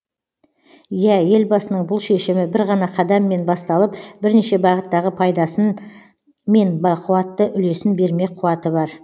иә елбасының бұл шешімі бір ғана қадаммен басталып бірнеше бағыттағы пайдасын мен бақуатты үлесін бермек қуаты бар